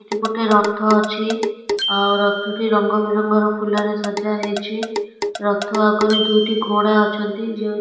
ଏପଟେ ରଥ ଅଛି ଆଉ ରଥଟି ରଙ୍ଗ ବେରଙ୍ଗର ଫୁଲରେ ସଜା ହେଇଛି ରଥ ଆଗରେ ଦୁଇଟି ଘୋଡ଼ା ଅଛନ୍ତି ଯେଉଁ --